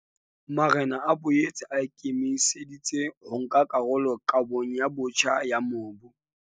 Marena a boetse a ikemise ditse ho nka karolo kabong botjha ya mobu.